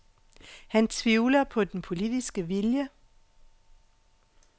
Han tvivler på den politiske vilje.